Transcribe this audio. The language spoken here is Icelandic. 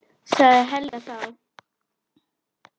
sagði Helga þá.